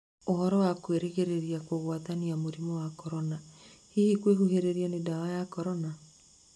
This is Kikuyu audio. ũhoro wa kũgĩrĩrĩria kugwatania mũrimũ wa Korona hihi kwĩhuhĩrĩria nĩ ndawa ya Korona?